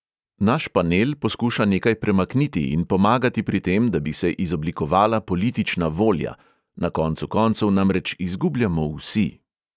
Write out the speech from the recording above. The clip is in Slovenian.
Naš panel poskuša nekaj premakniti in pomagati pri tem, da bi se izoblikovala politična volja, na koncu koncev namreč izgubljamo vsi.